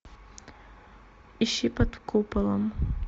ищи под куполом